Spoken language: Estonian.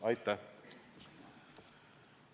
Aitäh!